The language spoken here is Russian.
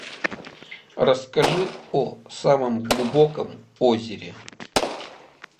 расскажи о самом глубоком озере